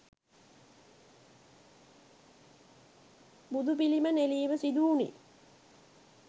බුදුපිළිම නෙලීම සිදුවුණි.